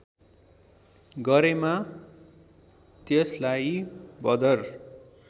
गरेमा त्यसलार्इ बदर